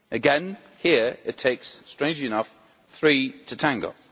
Again, here, it takes, strangely enough, three to tango.